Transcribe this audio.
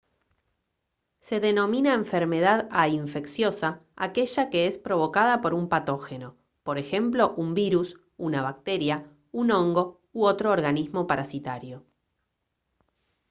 se denomina enfermedad a infecciosa aquella que es provocada por un patógeno por ejemplo un virus una bacteria un hongo u otro organismo parasitario